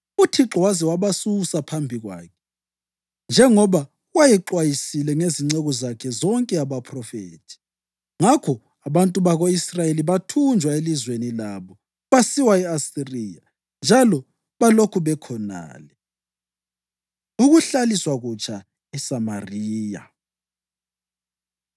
UThixo waze wabasusa phambi kwakhe, njengoba wayexwayisile ngezinceku zakhe zonke abaphrofethi. Ngakho abantu bako-Israyeli bathunjwa elizweni labo basiwa e-Asiriya, njalo balokhu bekhonale. Ukuhlaliswa Kutsha ESamariya